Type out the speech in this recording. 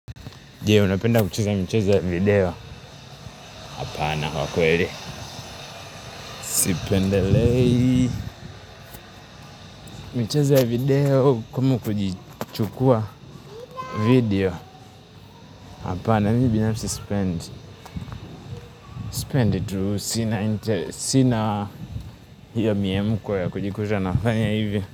Jee, unapenda kucheza michezo ya video. Hapana, wakweli. Sipendelei. Mchezo video kama kujichukua video. Hapana, mii binafsi sipendi. Sipend tu sina inter Sina hiyo miemko ya kujikuta na nafanya hivyo.